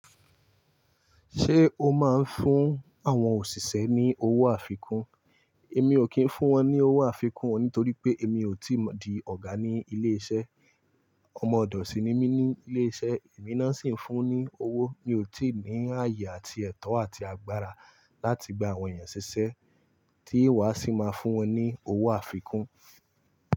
Ṣé o máa ń fún àwọn òṣìṣẹ́ ní owó àfikún? Èmi ò kí ń fún wọn ní owó àfikún nítorí pé èmi ò tí di ọ̀gá ní ilé iṣẹ́. Ọmọ ọ̀dọ̀ sì ni mí ní ilé iṣẹ́, èmi náà sì ń fún ní owó. Mi ò tí ì ní ààyè àti ẹ̀tọ́ àti agbára láti gba àwọn ènìyàn ṣiṣẹ́ tí ìwọ a sì máa fún wọn ní owó àfikún.